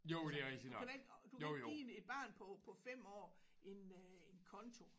Altså du kan da ikke du kan ikke give en et barn på på 5 år en øh en konto